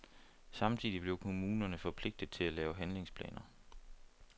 Samtidig blev kommunerne forpligtede til at lave handlingsplaner.